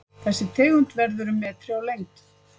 Þessi tegund verður um metri á lengd.